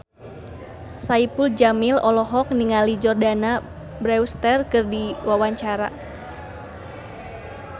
Saipul Jamil olohok ningali Jordana Brewster keur diwawancara